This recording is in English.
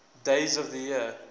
days of the year